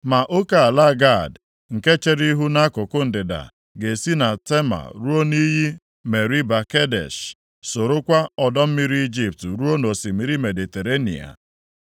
Ma oke ala Gad nke chere ihu nʼakụkụ ndịda ga-esi na Tama ruo nʼiyi Meriba Kadesh, sorokwa ọdọ mmiri Ijipt ruo nʼosimiri Mediterenịa.